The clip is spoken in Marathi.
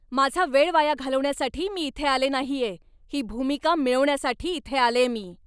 माझा वेळ वाया घालवण्यासाठी मी इथे आले नाहीये! ही भूमिका मिळवण्यासाठी इथे आलेय मी.